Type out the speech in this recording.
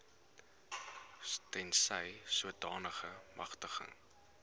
tensy sodanige magtiging